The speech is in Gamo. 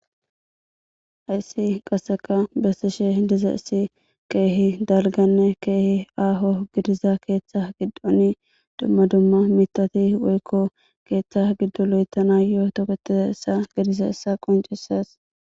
Hayssi qaseka bessishe diza issi keehi dalganne keehi aaho gidiza keeththa giddoni dumma dumma mitati woykko keeththa giddoloyetana yoo toketiza issa gidiza issa qoncises.